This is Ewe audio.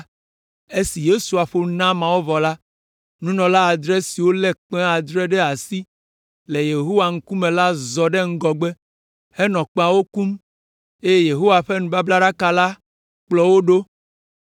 Esi Yosua ƒo nu na ameawo vɔ la, nunɔla adre siwo lé kpẽ adre ɖe asi le Yehowa ŋkume la zɔ ɖe ŋgɔgbe henɔ woƒe kpẽawo kum, eye Yehowa ƒe nubablaɖaka la kplɔ wo ɖo.